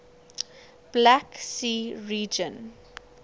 black sea region